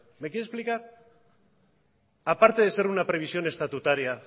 me quiere explicar a parte de ser una previsión estatutaria